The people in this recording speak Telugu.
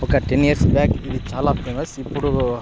ఒక టెన్ ఇయర్స్ బ్యాక్ ఇది చాలా ఫేమస్ ఇప్పుడు --